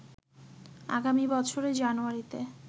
আগামী বছরের জানুয়ারিতে